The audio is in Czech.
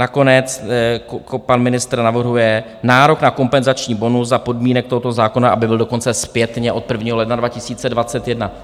Nakonec pan ministr navrhuje nárok na kompenzační bonus za podmínek tohoto zákona, aby byl dokonce zpětně od 1. ledna.